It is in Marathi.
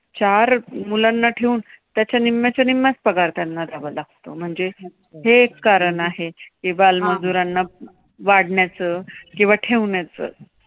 चार मुलांना ठेवून त्याच्या निम्म्याच्या निम्म्याच्या पगार त्यांना द्यावा लागतो म्हणजे हे कारण आहे. की बालमजुरांना वाढण्याचे किंवा ठेवण्याचं